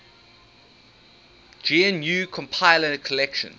gnu compiler collection